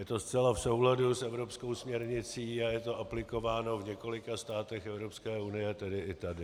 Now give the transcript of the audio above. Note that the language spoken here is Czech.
Je to zcela v souladu s evropskou směrnicí a je to aplikováno v několika státech EU, tedy i tady.